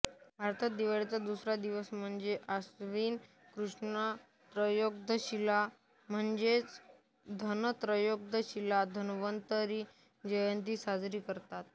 भारतात दिवाळीचा दुसरा दिवस म्हणजे आश्विन कृष्ण त्रयोदशीला म्हणजेच धनत्रयोदशीला धन्वंतरी जयंती साजरी करतात